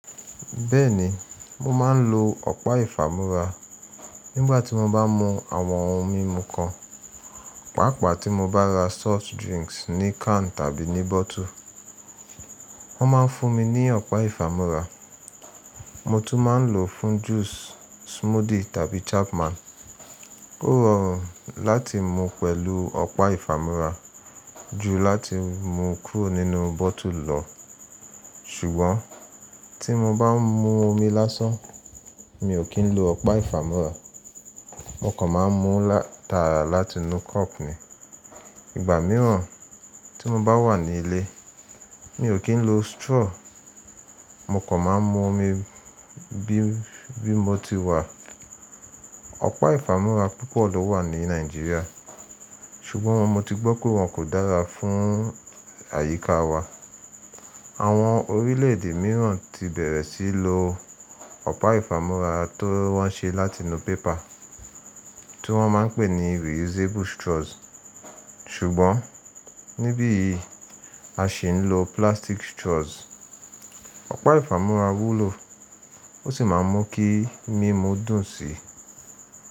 Bẹ́ẹ̀ni, mo ma ń lo ọ̀pá ifàmúra nígbà tí mo bá ń mu àwọn ohun mímu kan. Pàápàá tí mo bá ra soft drinks ní can tàbí ní bottle, wọ́n máa ń fún mi ni ọ̀pá ifàmúra. Mo tún máa ń lò ó fún juice, smoothie tàbí Chapman. Ó rọrùn láti mú pẹ̀lú ọ̀pá ifàmúra ju láti mú kúrò nínú bottle lọ. Sùgbọ́n tí mo bá ń mú omi lásán, mi ò kí ń lo ọ̀pá ifàmúra. Mò kan má mú tára láti inú cup ni. Ìgbà mìíràn tí mo bá wà ní ilé, mi ò kí ń lo straw. Mò kan má mú omi bí bi mo ti wà. Ọ̀pá ifàmúra púpọ̀ ló wà ní Nàìjíríà, ṣùgbọ́n mo ti gbọ́ pé wọ́n kò dára fún àyíká wa. Àwọn orílẹ̀ èdè mìíràn ti bẹ̀rẹ̀ sí í lo ọ̀pá ifàmúra ti wọ́n ṣe láti inú pépà tí wọ́n máa ń pè ní reusable straws. Sùgbọ́n níbí yi a ṣi ń lo plastic straws, ọ̀pá ifàmúra wúlò, ó sì máa mú kí mímú dùn síi.